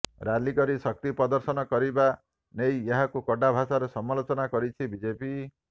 rally କରି ଶକ୍ତି ପ୍ରଦର୍ଶନ କରିବା ନେଇଏହାକୁ କଡ଼ା ଭାଷାରେ ସମାଲୋଚନା କରିଛି ବିଜେପି